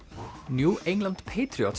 New England